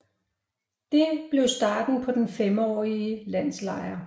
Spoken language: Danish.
Det blev starten på den femårlige landslejr